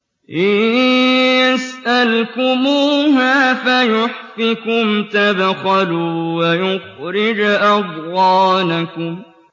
إِن يَسْأَلْكُمُوهَا فَيُحْفِكُمْ تَبْخَلُوا وَيُخْرِجْ أَضْغَانَكُمْ